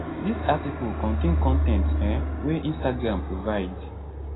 dis article contain con ten t um wey instagram provide